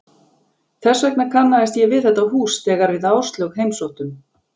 Þess vegna kannaðist ég við þetta hús þegar við Áslaug heimsóttum